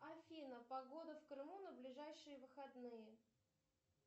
афина погода в крыму на ближайшие выходные